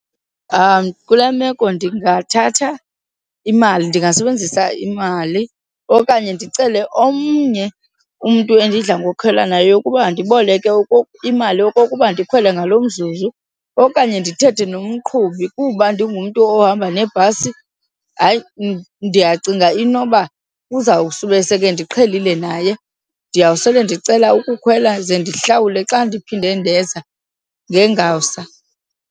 Kule meko ndingathatha imali, ndingasebenzisa imali okanye ndicele omnye umntu endidla ngokhwela naye ukuba andiboleke imali okokuba ndikhwele ngalo mzuzu. Okanye ndithethe nomqhubi, kuba ndingumntu ohamba ngebhasi hayi ndiyacinga inoba uzawukusube sekendiqhelile naye. Ndiyawusele ndicela ukukhwela ze ndihlawule xa ndiphinde ndenza ngengawusa.